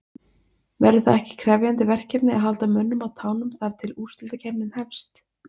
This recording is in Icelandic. Verður það ekki krefjandi verkefni að halda mönnum á tánum þar til að úrslitakeppnin hefst?